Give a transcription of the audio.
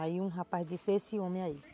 Aí um rapaz disse, é esse homem aí.